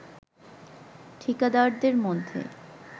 ঠিকাদারদের মধ্যে